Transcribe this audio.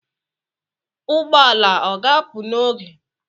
Ụgbọala ọga apụ n'oge?